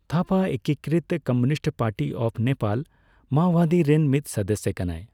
ᱛᱷᱟᱯᱟ ᱮᱠᱠᱤᱠᱨᱤᱛ communist party of Nepal ᱢᱟᱣᱚᱣᱟᱫᱤ ᱨᱮᱱ ᱢᱤᱫ ᱥᱟᱫᱟᱥᱭᱚ ᱠᱟᱱᱟ।